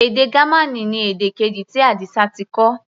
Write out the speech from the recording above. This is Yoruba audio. Èdè Gamaní ni èdè keji tí Adisa ti kọ́.